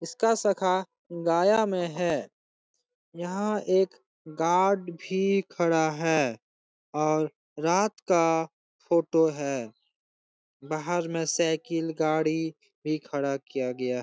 इसका शाखा गया में है । यहाँ एक गार्ड भी खड़ा है और रात का फोटो है । बाहर में सायकिल गाड़ी भी खड़ा किया गया है ।